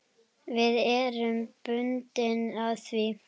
Við erum bundin af því.